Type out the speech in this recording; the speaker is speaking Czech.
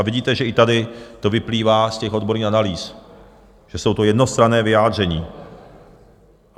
A vidíte, že i tady to vyplývá z těch odborných analýz, že jsou to jednostranná vyjádření.